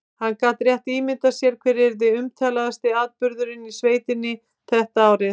Hann gat rétt ímyndað sér hver yrði umtalaðasti atburðurinn í sveitinni þetta árið.